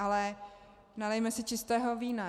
Ale nalijme si čistého vína.